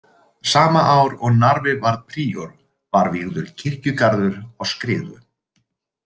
Sama ár og Narfi varð príor var vígður kirkjugarður á Skriðu.